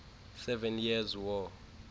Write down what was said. seven years war